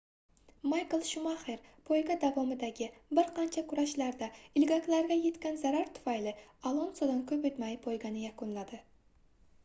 maykl shumaxer poyga davomidagi bir qancha kurashlarda ilgaklarga yetgan zarar tufayli alonsodan koʻp oʻtmay poygani yakunladi